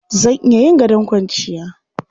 Zan iya yin gadon kwanciya.